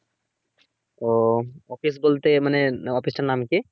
ও office বলতে মানে office এর নাম কি?